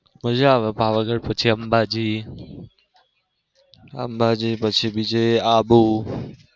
મજા આવે પાવાગઢ પછી અંબાજી અંબાજી પછી બીજે આબુ.